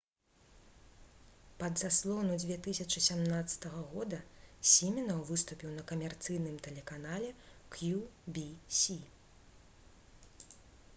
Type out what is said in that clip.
пад заслону 2017 г. сімінаў выступіў на камерцыйным тэлеканале «кью-ві-сі»